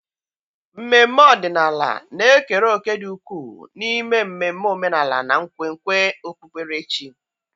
mmemme ọdịnala na-ekere òkè dị ukwuu n'ime mmemme omenala na nkwenkwe okpukperechi.